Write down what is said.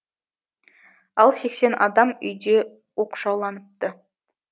ал сексен адам үйде оқшауланыпты